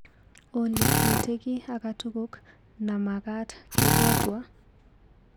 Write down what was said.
Olly, miite kiiy akatukuk namakat kebwatwa?